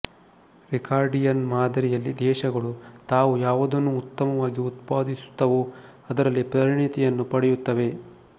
Ricardian ಮಾದರಿಯಲ್ಲಿ ದೇಶಗಳು ತಾವು ಯಾವುದನ್ನು ಉತ್ತಮವಾಗಿ ಉತ್ಪಾದಿಸುತ್ತವೋ ಅದರಲ್ಲಿ ಪರಿಣಿತಿಯನ್ನು ಪಡೆಯುತ್ತವೆ